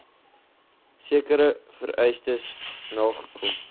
sekere vereistes nagekom